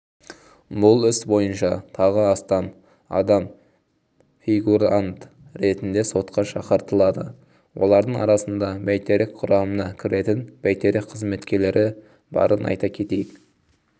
бұл іс бойынша тағы астам адам фигурант ретінде сотқа шақыртылады олардың арасында бәйтерек құрамына кіретін байтерек қызметкерлері барын айта кетейік